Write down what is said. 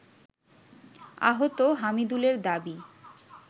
আহত হামিদুলের দাবি